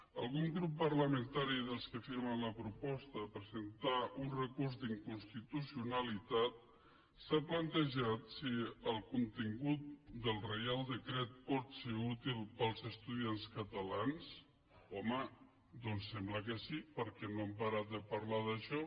algun grup parlamentari dels que presenten la proposta de presentar un recurs d’inconstitucionalitat s’ha plantejat si el contingut del reial decret pot ser útil per als estudiants catalans home doncs sembla que sí perquè no han parat de parlar d’això